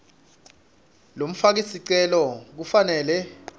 lomfaki sicelo kufanele